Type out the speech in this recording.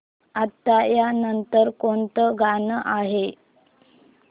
आता या नंतर कोणतं गाणं आहे